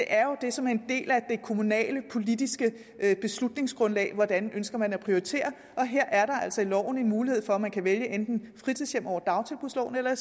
er jo det som er en del af det kommunale politiske beslutningsgrundlag hvordan ønsker man at prioritere og her er der altså i loven en mulighed for at man kan vælge enten fritidshjem over dagtilbudsloven eller